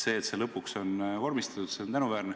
See, et see lõpuks on vormistatud, on tänuväärne.